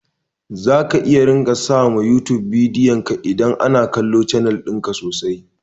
Zaka iya ringa samu yutub suna biyanka idan ana kallon canal ɗinka sosai